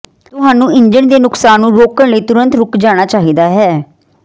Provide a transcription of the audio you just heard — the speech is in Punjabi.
ਤੁਹਾਨੂੰ ਇੰਜਣ ਦੇ ਨੁਕਸਾਨ ਨੂੰ ਰੋਕਣ ਲਈ ਤੁਰੰਤ ਰੁਕ ਜਾਣਾ ਚਾਹੀਦਾ ਹੈ